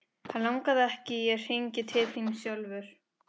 Hann lagði ekki í að hringja til þín sjálfur.